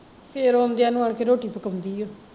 ਫੇਰ ਆਉਂਦਿਆ ਨੂੰ ਆਣ ਕੇ ਰੋਟੀ ਪਕਾਉਂਦੀ ਓ